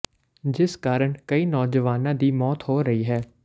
ਜਿਸ ਕਾਰਨ ਕਈ ਨੌਜਵਾਨਾਂ ਦੀ ਮੌਤ ਹੋ ਰਹੀ ਹੈ